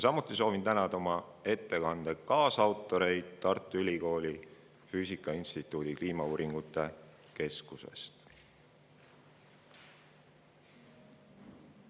Samuti soovin tänada oma ettekande kaasautoreid Tartu Ülikooli füüsika instituudi kliimauuringute keskusest.